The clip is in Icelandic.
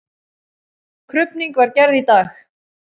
Krufning var gerð í dag.